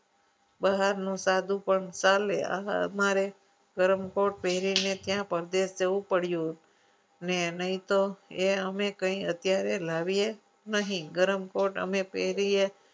બહારનું સાધુ પણ ચાલે આવા અમારે ગરમકોટ પહેરીને કયા પ્રદેશ જવું પડ્યું ને નહીં તો એ અમે અત્યારે કંઈ લાવીએ નહીં ગરમ કોર્ટ અમે પહેરીએ.